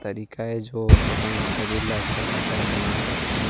तरीके हे जो अपन शरीर ला अच्छा खासा बना सकथे।